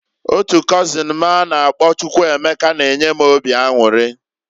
Otu kozin m a na -akpọ Chukwuemeka na-enye m obi anwuri.